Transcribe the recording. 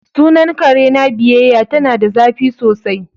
Sunan kare na biyayya ,ta na da zafi sosai.